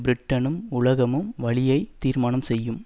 பிரிட்டனும் உலகமும் வழியை தீர்மானம் செய்யும்